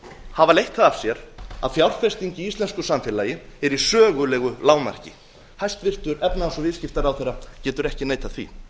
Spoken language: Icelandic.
hafa leitt það af sér að fjárfesting í íslensku samfélagi er í sögulegu lágmarki hæstvirtur efnahags og viðskiptaráðherra getur ekki neitað því